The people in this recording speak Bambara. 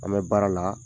An bɛ baara la